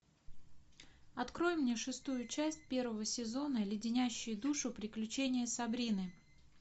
открой мне шестую часть первого сезона леденящие душу приключения сабрины